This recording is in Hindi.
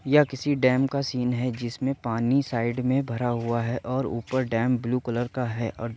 यह किसी डेम का सीन है। जिसमें पानी साईड में भरा हुआ है और ऊपर डेम ब्लू कलर का है और --